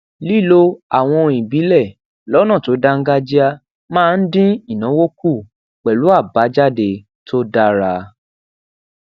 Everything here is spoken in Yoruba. lílo àwọn ohun ibile lónà tó dáńgájíá máa ń dín ìnáwó kù pelu abajade to dara